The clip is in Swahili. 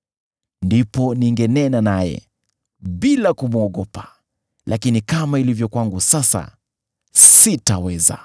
Ndipo ningenena naye, bila kumwogopa, lakini kama ilivyo kwangu sasa, sitaweza.